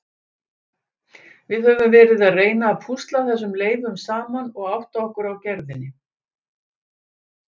Við höfum verið að reyna að púsla þessum leifum saman og átta okkur á gerðinni.